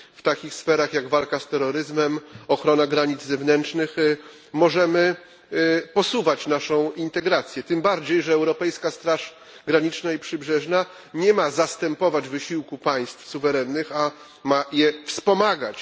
W takich sferach, jak walka z terroryzmem, ochrona granic zewnętrznych, możemy posuwać naszą integrację, tym bardziej że Europejska Straż Graniczna i Przybrzeżna nie ma zastępować wysiłku suwerennych państw, a je wspomagać.